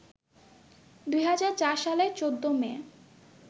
২০০৪ সালের ১৪ মে